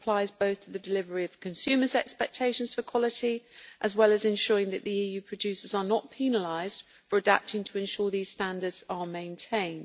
This applies both to the delivery of consumers' expectations for quality as well as ensuring that the EU producers are not penalised for adapting to ensure these standards are maintained.